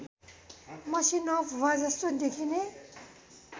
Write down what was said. मसिनो भुवाजस्तो देखिने